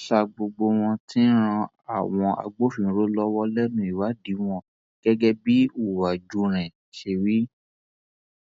sa gbogbo wọn tí ń ran àwọn agbófinró lọwọ lẹnu ìwádìí wọn gẹgẹ bí uwájúrẹn ṣe wí